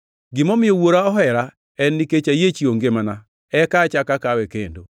Gimomiyo Wuora ohera en nikech ayie chiwo ngimana, eka achako akawe kendo.